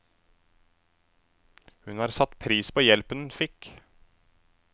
Hun har satt pris på hjelpen hun fikk.